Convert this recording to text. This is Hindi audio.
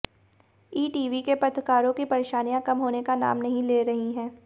ईटीवी के पत्रकारों की परेशानियां कम होने का नाम नहीं ले रही हैं